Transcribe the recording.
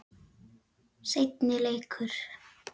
Seinni leikur